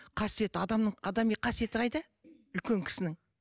қасиет адамның адами қасиеті қайда үлкен кісінің